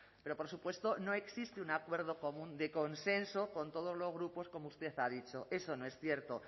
pero por supuesto no existe un acuerdo común de consenso con todos los grupos como usted ha dicho eso no es cierto